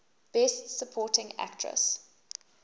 best supporting actress